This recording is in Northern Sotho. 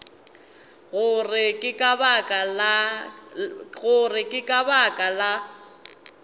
gore ke ka baka la